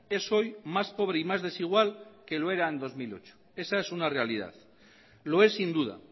es hoy más pobre y más desigual que lo era en dos mil ocho esa es una realidad lo es sin duda